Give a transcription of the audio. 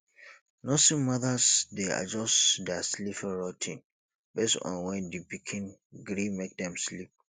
nursing mothers de adjust their sleeping routine based on when di pikin gree make dem sleep